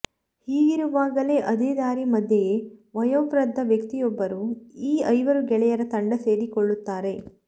ಹೀಗಿರುವಾಗಲೇ ಅದೇ ದಾರಿ ಮಧ್ಯೆಯೇ ವಯೋವೃದ್ದ ವ್ಯಕ್ತಿಯೊಬ್ಬರೂ ಈ ಐವರು ಗೆಳೆಯರ ತಂಡ ಸೇರಿಕೊಳ್ಳುತ್ತಾರೆ